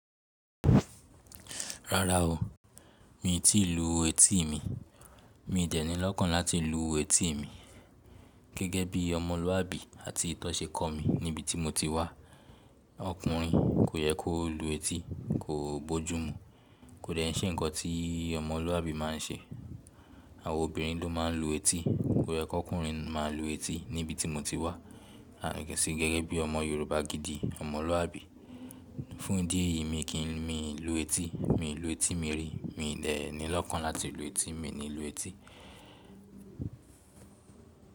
Rárá o, mi tí ì lu etí mi. Mí dè ní lọ́kàn láti lù etí mí. Gẹ́gẹ́ bí ọmọlúàbí àti ìtọ́sẹ kọ́ mi níbi tí mo ti wá. Ọkùnrin kò yẹ kó lu etí, kò bójú mú. Kò dẹ ń ṣe ǹkan tí ọmọlúàbí máa ń ṣe. Àwọn obìnrin ló máa ń lu etí. Kò yẹ k'ọkùnrin máa lu etí níbi tí mo ti wá. A lè ṣe gẹ́gẹ́ bí ọmọ Yorùbá gidi, ọmọlúàbí. Fún ìdí èyí. Mí kí lù etí Mi lu etí mi rí. Mi i dẹni lọ́kàn láti lu etí. Mi ni lu etí.